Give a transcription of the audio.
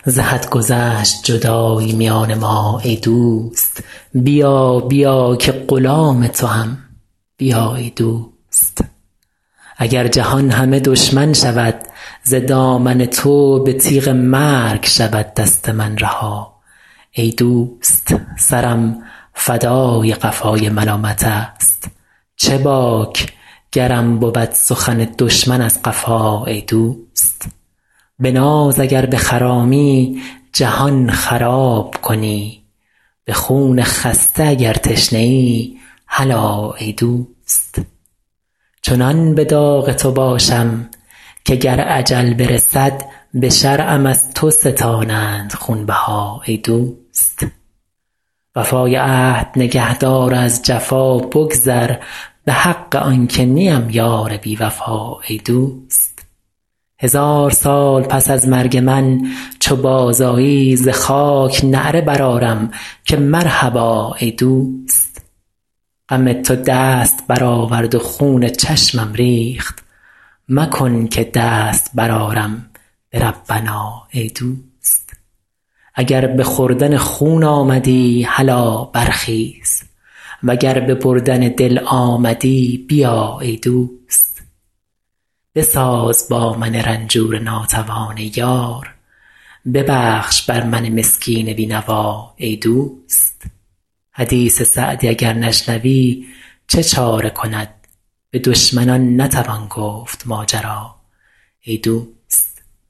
ز حد گذشت جدایی میان ما ای دوست بیا بیا که غلام توام بیا ای دوست اگر جهان همه دشمن شود ز دامن تو به تیغ مرگ شود دست من رها ای دوست سرم فدای قفای ملامتست چه باک گرم بود سخن دشمن از قفا ای دوست به ناز اگر بخرامی جهان خراب کنی به خون خسته اگر تشنه ای هلا ای دوست چنان به داغ تو باشم که گر اجل برسد به شرعم از تو ستانند خونبها ای دوست وفای عهد نگه دار و از جفا بگذر به حق آن که نیم یار بی وفا ای دوست هزار سال پس از مرگ من چو بازآیی ز خاک نعره برآرم که مرحبا ای دوست غم تو دست برآورد و خون چشمم ریخت مکن که دست برآرم به ربنا ای دوست اگر به خوردن خون آمدی هلا برخیز و گر به بردن دل آمدی بیا ای دوست بساز با من رنجور ناتوان ای یار ببخش بر من مسکین بی نوا ای دوست حدیث سعدی اگر نشنوی چه چاره کند به دشمنان نتوان گفت ماجرا ای دوست